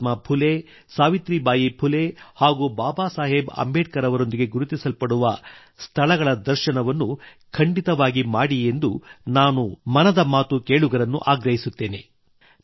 ಮಹಾತ್ಮಾ ಫುಲೆ ಸಾವಿತ್ರಿಬಾಯಿ ಫುಲೆ ಹಾಗೂ ಬಾಬಾ ಸಾಹೇಬ್ ಅಂಬೇಡ್ಕರ್ ಅವರೊಂದಿಗೆ ಗುರುತಿಸಲಾಗುವ ಸ್ಥಳಗಳ ದರ್ಶನವನ್ನು ಖಂಡಿತವಾಗಿ ಮಾಡಿ ಎಂದು ನಾನು ಮನದ ಮಾತು ಕೇಳುಗರನ್ನು ಆಗ್ರಹಿಸುತ್ತೇನೆ